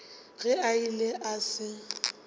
ge a ile a se